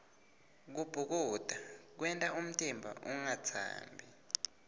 kubhukuda kwenta umtimba ungatsambi